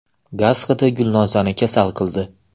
Gaz hidi Gulnozani kasal qildi.